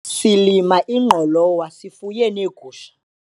silima ingqolowa sifuye neegusha